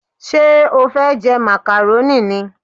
Ṣé o fẹ́ jẹ màkàrónì ni?